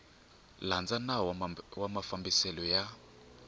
landza nawu wa mafambiselo ya